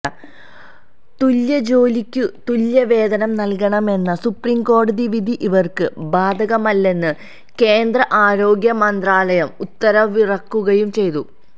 തുല്യജോലിക്കു തുല്യവേതനം നൽകണമെന്ന സുപ്രീംകോടതിവിധി ഇവർക്കു ബാധകമല്ലെന്ന് കേന്ദ്ര ആരോഗ്യ മന്ത്രാലയം ഉത്തരവിറക്കുകയും ചെയ്തു